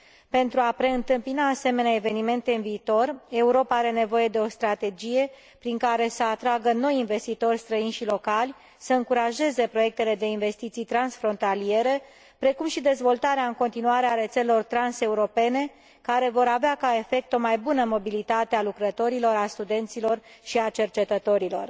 Pentru a preîntâmpina asemenea evenimente în viitor, Europa are nevoie de o strategie prin care să atragă noi investitori străini și locali, să încurajeze proiectele de investiții transfrontaliere, precum și dezvoltarea în continuare a rețelelor trans europene, care vor avea ca efect o mai bună mobilitate a lucrătorilor, a studenților și a cercetătorilor.